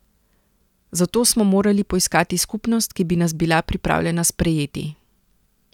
Zato smo morali poiskati skupnost, ki bi nas bila pripravljena sprejeti.